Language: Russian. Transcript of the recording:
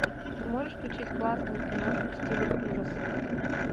ты можешь включить классную киношку в стиле ужасов